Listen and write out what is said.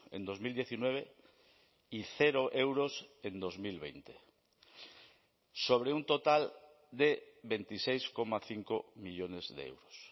en dos mil diecinueve y cero euros en dos mil veinte sobre un total de veintiséis coma cinco millónes de euros